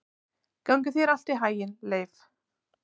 Gangi þér allt í haginn, Leif.